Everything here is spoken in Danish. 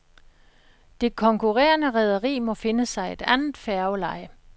Det konkurrerende rederi må finde sig et andet færgeleje.